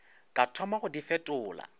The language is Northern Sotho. ka thoma go di fetola